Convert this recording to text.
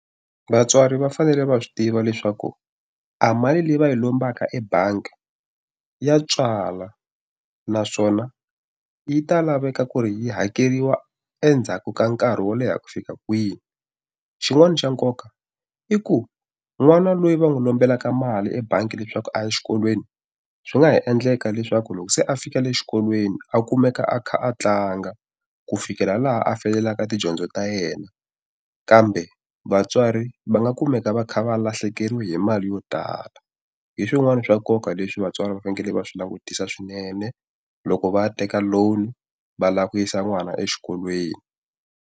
Vatswari va fanele va swi tiva leswaku a mali leyi va yi lombaka ebangi ya tswala, naswona yi ta laveka ku ri hakeriwa endzhaku ka nkarhi wo leha ku fika kwihi. Xin'wana xa nkoka i ku n'wana loyi va n'wi lombelaka mali ebangi leswaku a ya exikolweni, swi nga ha endleka leswaku loko se a fika le xikolweni a kumeka a kha a tlanga ku fikela laha a feyilaka tidyondzo ta yena. Kambe vatswari va nga kumeka va kha va lahlekeriwe hi mali yo tala. Hi swin'wana swa nkoka leswi vatswari va fanele va swi langutisa swinene, loko va teka loan va lava ku yisa n'wana exikolweni.